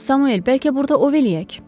Samuel bəlkə burda ov edək?